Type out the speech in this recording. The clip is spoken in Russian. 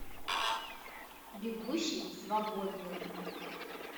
бегущий свободным